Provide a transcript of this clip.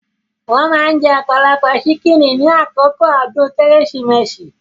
Wón maa ń jẹ ọ̀pọ̀lọpọ̀ ṣíkìnnì ní àkókò ọdún Kérésìmesì